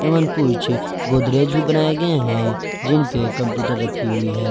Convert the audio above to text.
गोदरेज भी बनाए गए हैं जिन पे कंप्यूटर रखी हुई है।